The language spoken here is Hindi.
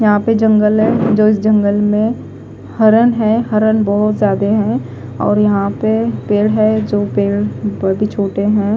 यहा पे जंगल है जो इस जंगल में हरन है हरन बहोत जादे है और यहा पे पेड़ है जो पेड़ अभी छोटे है।